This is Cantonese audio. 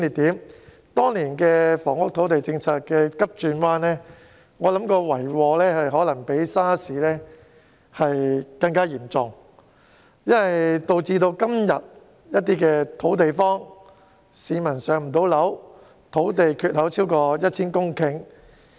我認為當年房屋土地政策急轉彎的遺禍可能較 SARS 還要嚴重，導致今天的土地荒，市民未能"上樓"，土地缺口超過 1,000 公頃。